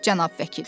Cənab vəkil.